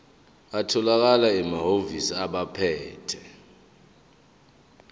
atholakala emahhovisi abaphethe